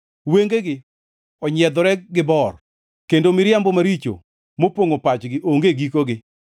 Wengegi onyiedhore gi bor kendo miriambo maricho mopongʼo pachgi onge gikogi.